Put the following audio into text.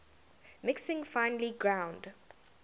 mixing finely ground